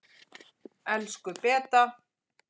Elsku Beta.